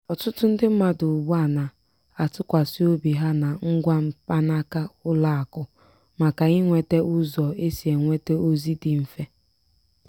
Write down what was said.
ọtụtụ ndị mmadụ ugbu a na-atụkwasị obi ha na ngwa mkpanaka ụlọ akụ maka inweta ụzọ e si enweta ozi dị mfe.